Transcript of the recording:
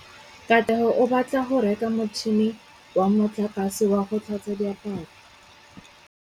Katlego o batla go reka motšhine wa motlakase wa go tlhatswa diaparo.